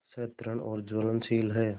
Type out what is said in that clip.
सतृष्ण और ज्वलनशील है